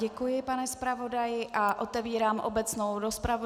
Děkuji, pane zpravodaji a otevírám obecnou rozpravu.